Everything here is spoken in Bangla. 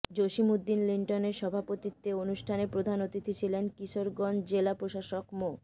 জসীম উদ্দিন লিটনের সভাপতিত্বে অনুষ্ঠানে প্রধান অতিথি ছিলেন কিশোরগঞ্জ জেলা প্রশাসক মো